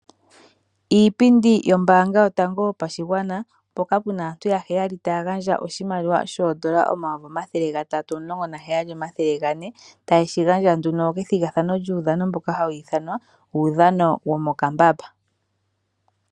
Iipindi yombaanga yotango yopashigwana mpoka pe na aantu ya heyali taya gandja oshimaliwa shoondola omayovi omathele gatatu omulongo na heyali omathele gane tayeshi gandja nduno kethigathano lyuudhano mbuka hawu ithanwa uudhano womokambamba.